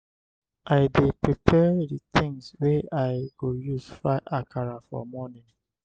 i dey prepare the things wey i go use fry akara for morning.